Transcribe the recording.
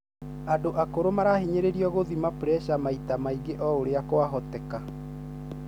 Andũ akũrũ marahinyĩrĩrĩo gũthima puresha maita maingĩ o ũrĩa kwa hoteka.